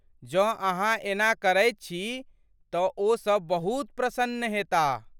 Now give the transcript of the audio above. जँ अहाँ एना करैत छी तँ ओसब बहुत प्रसन्न हेताह ।